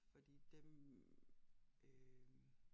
Fordi dem øh